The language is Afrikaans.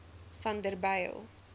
vanderbijl